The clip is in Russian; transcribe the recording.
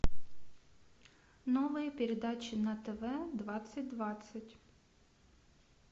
новые передачи на тв двадцать двадцать